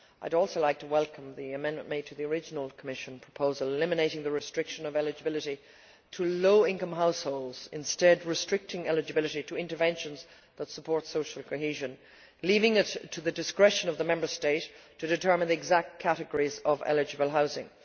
I would also like to welcome the amendment made to the original Commission proposal eliminating the restriction of eligibility to low income households, instead restricting eligibility to interventions that support social cohesion, leaving it to the discretion of the Member State to determine the exact categories of eligible housing.